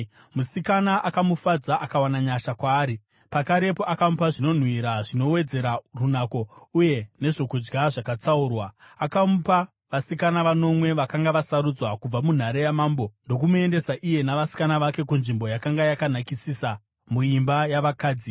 Musikana akamufadza akawana nyasha kwaari. Pakarepo akamupa zvinonhuhwira zvinowedzera runako uye nezvokudya zvakatsaurwa. Akamupa vasikana vanomwe vakanga vasarudzwa kubva munhare yamambo ndokumuendesa iye navasikana vake kunzvimbo yakanga yakanakisisa muimba yavakadzi.